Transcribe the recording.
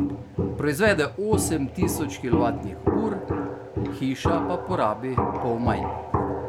Proizvede osem tisoč kilovatnih ur, hiša pa porabi pol manj.